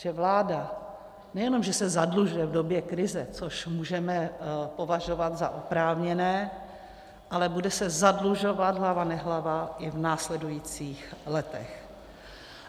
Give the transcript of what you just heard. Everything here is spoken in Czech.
Že vláda nejenom že se zadlužuje v době krize, což můžeme považovat za oprávněné, ale bude se zadlužovat hlava nehlava i v následujících letech.